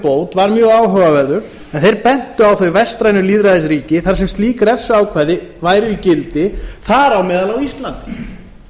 bót var mjög áhugaverður en þeir bentu á þau vestrænu lýðræðisríki þar sem slík refsiákvæði væru í gildi þar á meðal á íslandi